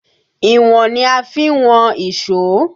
Ìwọ̀n ni a fi ń wọn ìṣó